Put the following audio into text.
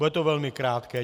Bude to velmi krátké.